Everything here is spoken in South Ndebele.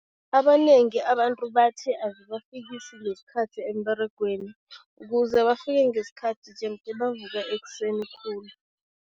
Abanengi abantu bathi, azibafikisi ngesikhathi emberegweni. Ukuze bafike ngesikhathi jemde bavuke ekuseni khulu.